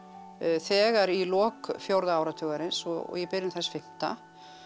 þegar í lok fjórða áratugarins og í byrjun þess fimmta